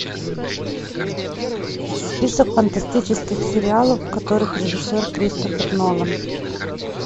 список фантастических сериалов в которых режиссер кристофер нолан